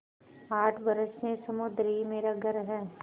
आठ बरस से समुद्र ही मेरा घर है